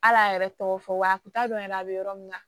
Al'a yɛrɛ tɔgɔ fɔ wa dɔn yɛrɛ a bɛ yɔrɔ min na